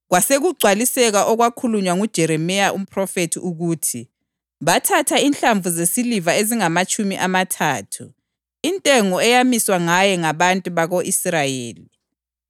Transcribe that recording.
Kwasekugcwaliseka okwakhulunywa nguJeremiya umphrofethi ukuthi: “Bathatha inhlamvu zesiliva ezingamatshumi amathathu, intengo eyamiswa ngaye ngabantu bako-Israyeli,